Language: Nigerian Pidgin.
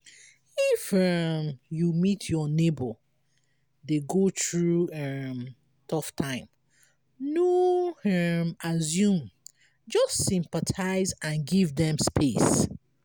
if um you meet your neigbour dey go through um tough time no um assume just sympathize and give dem space